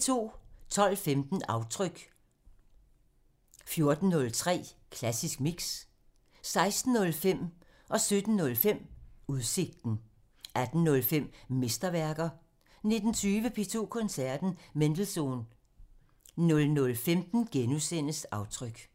12:15: Aftryk (Afs. 45) 14:03: Klassisk Mix (Afs. 248) 16:05: Udsigten (Afs. 223) 17:05: Udsigten (Afs. 223) 18:05: Mesterværker (Afs. 45) 19:20: P2 Koncerten – Mendelssohn (Afs. 225) 00:15: Aftryk (Afs. 45)*